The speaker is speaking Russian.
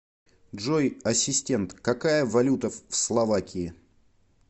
джой ассистент какая валюта в словакии